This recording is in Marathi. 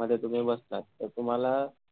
मध्ये तुम्ही बसता तर तुम्हाला